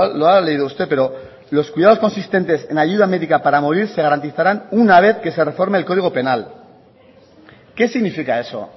lo ha leído usted pero los cuidados consistentes en ayuda médica para morir se garantizarán una vez que se reforme el código penal qué significa eso